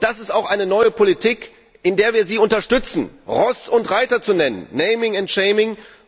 Und das ist auch eine neue Politik, in der wir Sie unterstützen, nämlich Ross und Reiter zu nennen, naming and shaming